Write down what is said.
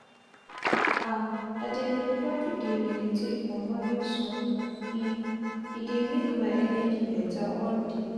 ah i dey prefa to dey meditate for morning sun e e dey make my energi beta all day.